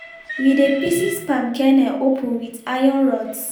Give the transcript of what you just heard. we dey pieces palm kernel open with iron rods